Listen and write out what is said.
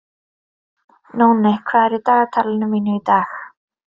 Nóni, hvað er í dagatalinu mínu í dag?